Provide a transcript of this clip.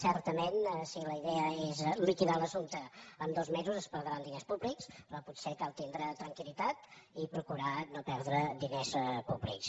certament si la idea és liquidar l’assumpte en dos mesos es perdran diners públics però potser cal tindre tranquil·litat i procurar no perdre diners públics